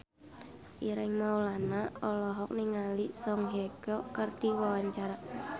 Ireng Maulana olohok ningali Song Hye Kyo keur diwawancara